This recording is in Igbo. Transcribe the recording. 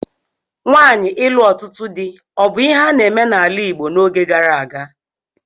Nwaanyi ịlụ ọtụtụ di abu ihe a na-eme n'ala Igbo n'oge gara aga?